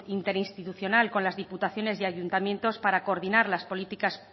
interinstitucional con las diputaciones y ayuntamientos para coordinar las políticas